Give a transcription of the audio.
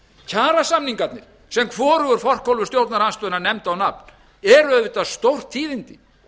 kjarasamningarnir sem hvorugur forkólfur stjórnarandstöðunnar nefndi á nafn eru auðvitað stórtíðindi